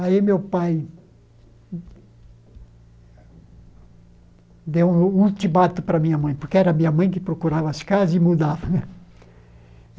Aí meu pai deu um ultimato para minha mãe, porque era minha mãe que procurava as casas e mudava né.